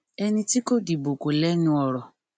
ẹni tí kò dìbò kò lẹnu ọrọ